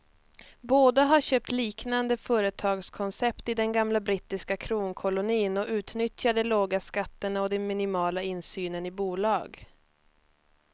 Båda har köpt liknande företagskoncept i den gamla brittiska kronkolonin och utnyttjar de låga skatterna och den minimala insynen i bolag.